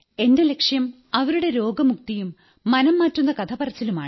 എന്റെ ലക്ഷ്യം അവരുടെ രോഗമുക്തിയും മനംമാറ്റുന്ന കഥ പറച്ചിലുമാണ്